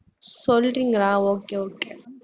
சொல்றீங்களா okay okay